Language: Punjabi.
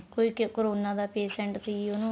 ਕੋਈ corona ਦਾ patient ਸੀ ਉਹਨੂੰ